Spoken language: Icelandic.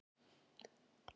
Finnst þér gaman að dansa?